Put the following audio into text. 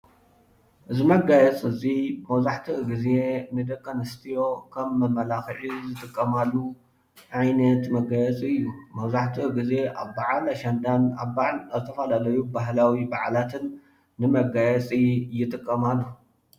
እዚ መጋየፂ እዙይ መብዛሕትኡ ግዜ ንደቂኣንስትዮ ኸም መመላኽዒ ዝጥቀማሉ ዓይነት መጋየፂ እዩ። መብዛሕትኡ ግዜ ኣብ በዓል አሸንዳን ኣብ ዝተፈላለዩ ሃይማኖቲዋ በዓላትን ንመጋየፂ ይጥቀማሉ።